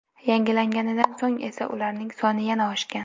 Yangilanganidan so‘ng esa ularning soni yana oshgan.